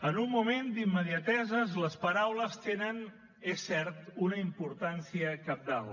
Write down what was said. en un moment d’immediateses les paraules tenen és cert una importància cabdal